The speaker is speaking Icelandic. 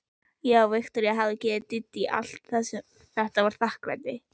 Já, Viktoría hafði gefið Dídí allt og þetta var þakklætið.